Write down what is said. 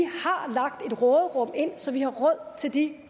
har lagt et råderum ind så vi har råd til de